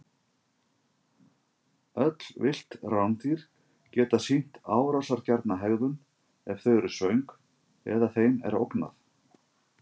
Öll villt rándýr geta sýnt árásargjarna hegðun ef þau eru svöng eða þeim er ógnað.